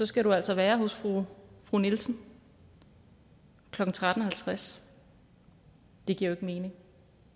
skal du altså være hos fru fru nielsen klokken tretten halvtreds det giver jo mening